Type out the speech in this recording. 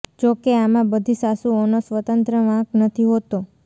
જો કે આમાં બધી સાસુઓનો સ્વતંત્ર વાંક નથી હોતો